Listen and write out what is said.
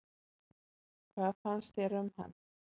Hvað fannst þér um hann?